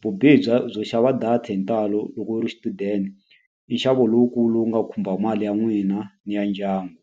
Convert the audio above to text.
Vubihi bya byo xava data hi ntalo loko u ri xichudeni i nxavo lowukulu wu nga khumba mali ya n'wina ni ya ndyangu.